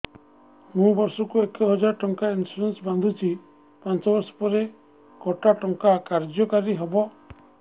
ମୁ ବର୍ଷ କୁ ଏକ ହଜାରେ ଟଙ୍କା ଇନ୍ସୁରେନ୍ସ ବାନ୍ଧୁଛି ପାଞ୍ଚ ବର୍ଷ ପରେ କଟା ଟଙ୍କା କାର୍ଯ୍ୟ କାରି ହେବ